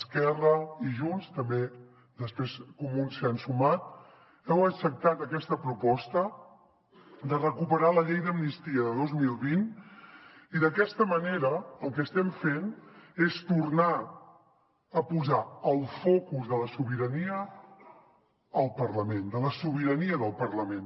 esquerra i junts també després comuns s’hi han sumat heu acceptat aquesta proposta de recuperar la llei d’amnistia de dos mil vint i d’aquesta manera el que estem fent és tornar a posar el focus de la sobirania al parlament de la sobirania del parlament